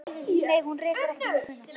Nei, hún reykir ekki inni í búðinni.